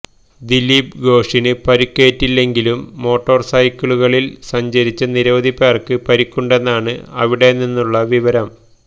ദിലീപ് ഘോഷിന് പരിക്കേറ്റില്ലെങ്കിലും മോട്ടോര്സൈക്കിളുകളില് സഞ്ചരിച്ച നിരവധിപേര്ക്ക് പരിക്കുണ്ടെന്നാണ് അവിടെനിന്നുള്ള വിവരം